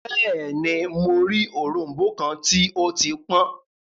Bẹẹni, Mo rii orombo kan ti o ti pọn